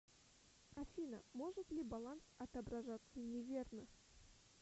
афина может ли баланс отображаться неверно